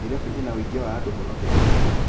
Nairobi ĩna ũingĩ wa andũ mũno Kenya